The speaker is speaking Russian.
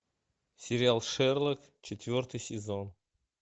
сериал шерлок четвертый сезон